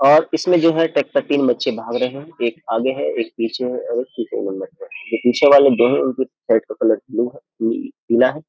और इसमें जो है तट पर तीन बच्चे भाग रहे हैं एक आगे है एक पीछे है और एक तीसरे नंबर पर है जो पीछे वाले दोनों लोग के शर्ट का कलर ब्लू है पि पीला है।